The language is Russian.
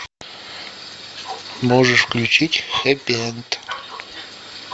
можешь включить хэппи энд